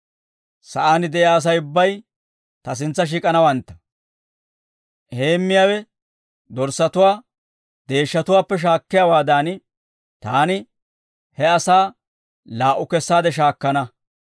Sa'aan de'iyaa Asay ubbay ta sintsa shiik'anawantta; heemmiyaawe dorssatuwaa deeshshatuwaappe shaakkiyaawaadan, taani he asaa laa"u kessaade shaakkana.